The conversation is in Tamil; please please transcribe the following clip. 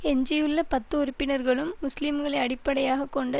எஞ்சியுள்ள பத்து உறுப்பினர்களும் முஸ்லிம்களை அடிப்படையாக கொண்ட